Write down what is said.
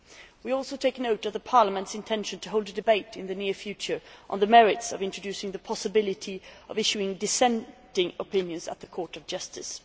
We also take note of Parliament's intention to hold a debate in the near future on the merits of introducing the possibility of issuing dissenting opinions at the Court of Justice.